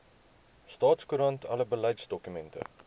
staatskoerant alle beleidsdokumente